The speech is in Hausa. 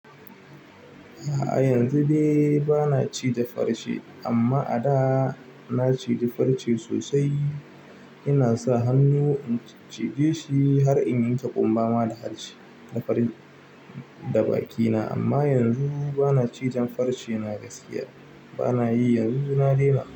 A'a yanzu dai bana cije farce amma a da na ciji farce sosai. Ina sa hannu in cije shi har in yanke ƙumba ma da harshe da farin da bakina amma yanzu bana cijan farce. Na gasiya bana yi. Yanzu na daina.